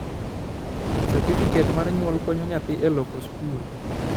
serifiket mar nyuol konyo nyathi e loko skul